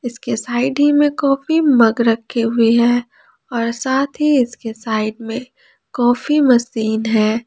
इसके साइड ही में कॉफी मग रखे हुए हैं और साथ ही इसके साइड में कॉफी मशीन है।